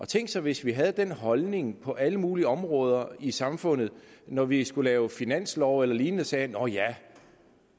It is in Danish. tænk sig hvis vi havde den holdning på alle mulige andre områder i samfundet når vi skulle lave finanslov eller lignende og sagde nå ja